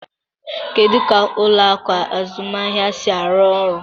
Kedu ka ụlọ akụ azụmaahịa si arụ ọrụ?